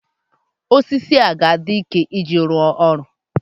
osisi ọ ga-adị ike iji rụọ ọrụ?